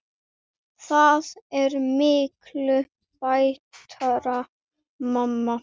Það er miklu betra mamma!